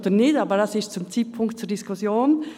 Das steht zum jetzigen Zeitpunkt zur Diskussion.